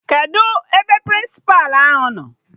Kedụ ebe Prịnsịpa ahụ nọ?